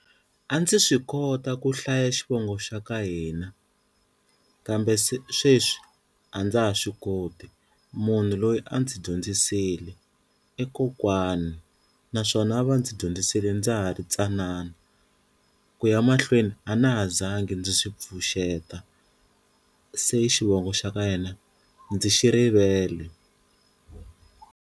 A ndzi swi kota ku hlaya xivongo xa ka hina kambe se sweswi a ndza ha swi koti munhu loyi a ndzi dyondzisile i kokwani naswona a va ndzi dyondzisile ndza ha ri tsanana ku ya mahlweni a na ha zanga ndzi swi pfuxeta se xivongo xa ka yena ndzi xi rivele.